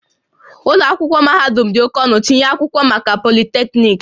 Ụlọ akwụkwọ mahadum dị oke ọnụ, tinye akwụkwọ maka Polytechnic